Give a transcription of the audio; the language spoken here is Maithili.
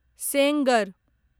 सेंगर